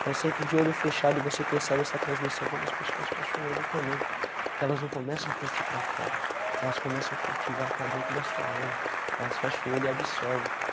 Então sempre de olho fechado e você percebe essa transmissão quando as pessoas fecham o olho também, que elas não começam a curtir para fora, elas começam a cultivar para dentro da sua alma, elas fecham o olho e absorvem.